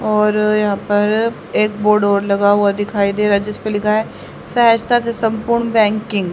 और यहाँ पर एक बोर्ड और लगा हुआ दिखाई दे रहा हैं जिसपे लिखा हैं सहजता से संपूर्ण बँकिंग --